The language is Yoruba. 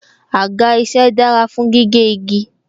Àga isẹ dára fún gígé igi